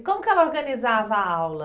E como que ela organizava a aula?